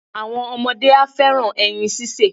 Àwọn ọmọ á fẹ́ràn ẹyin síse.